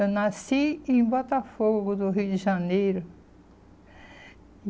Eu nasci em Botafogo, do Rio de Janeiro.